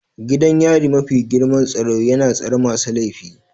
Gidan yari mafi girman tsaro yana tsare masu laifi.